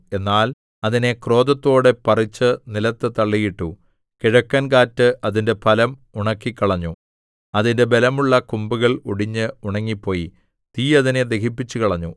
എന്നാൽ അതിനെ ക്രോധത്തോടെ പറിച്ച് നിലത്തു തള്ളിയിട്ടു കിഴക്കൻകാറ്റ് അതിന്റെ ഫലം ഉണക്കിക്കളഞ്ഞു അതിന്റെ ബലമുള്ള കൊമ്പുകൾ ഒടിഞ്ഞ് ഉണങ്ങിപ്പോയി തീ അതിനെ ദഹിപ്പിച്ചുകളഞ്ഞു